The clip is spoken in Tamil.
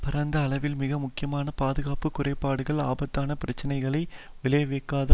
பரந்த அளவில் மிக முக்கியமான பாதுகாப்பு குறைபாடுகள் ஆபத்தான பிரச்சனைகளை விளைவாக்காத